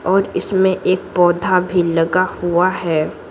और इसमें एक पौधा भी लगा हुआ है।